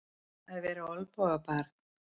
Að vera olnbogabarn